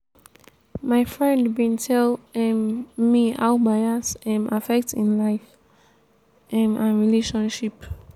my friend bin tell um me how bias um affect im life um and relationship.